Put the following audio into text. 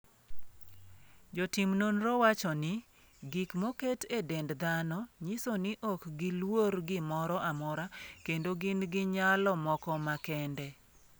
Jotim nonro wacho ni, gik moket e dend dhano nyiso ni ok giluor gimoro amora, kendo gin gi nyalo moko makende.